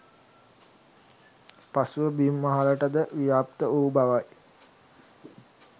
පසුව බිම් මහලට ද ව්‍යාප්ත වූ බවයි